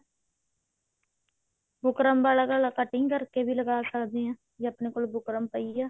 buckram ਵਾਲਾ ਗਲਾ cutting ਕਰਕੇ ਵੀ ਲਗਾ ਸਕਦੇ ਹਾਂ ਜੇ ਆਪਣੇ ਕੋਲ ਬੁਕਰਮ ਪਈ ਹੈ